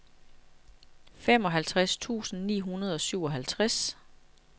femoghalvtreds tusind ni hundrede og syvoghalvtreds